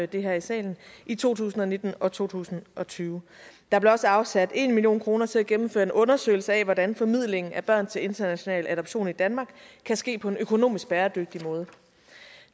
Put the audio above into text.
det her i salen i to tusind og nitten og to tusind og tyve der blev også afsat en million kroner til at gennemføre en undersøgelse af hvordan formidlingen af børn til international adoption i danmark kan ske på en økonomisk bæredygtig måde